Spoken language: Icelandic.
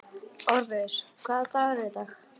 Orfeus, hvaða dagur er í dag?